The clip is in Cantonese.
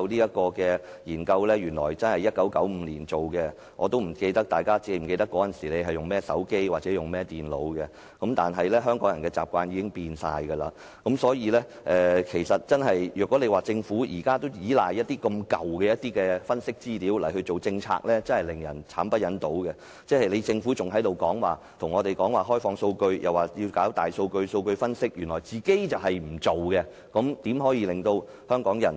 原來該研究是在1995年進行，不知道大家是否記得——我已記不起——那時大家使用甚麼手機或電腦型號，香港人現在的習慣已完全改變，如果政府現在仍然依賴這麼陳舊的分析資料制訂政策，確實令人慘不忍睹，政府跟我們談甚麼開放數據或搞大數據分析，原來它自己卻不做，試問又怎可以令香港人